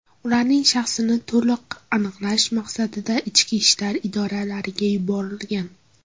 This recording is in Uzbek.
Ularning shaxsini to‘liq aniqlash maqsadida ichki ishlar idoralariga yuborilgan.